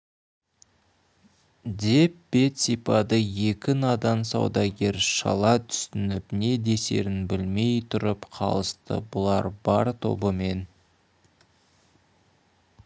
деп бет сипады екі надан саудагер шала түсініп не десерін білмей тұрып қалысты бұлар бар тобымен